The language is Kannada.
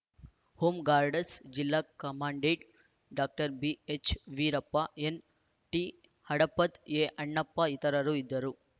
ಹೋಂ ಗಾಡಸ್‌ರ್‍ ಜಿಲ್ಲಾ ಕಮಾಂಡೆಂಟ್‌ ಡಾಕ್ಟರ್ ಬಿಎಚ್‌ವೀರಪ್ಪ ಎನ್‌ಟಿಹಡಪದ್‌ ಎಅಣ್ಣಪ್ಪ ಇತರರು ಇದ್ದರು